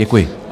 Děkuji.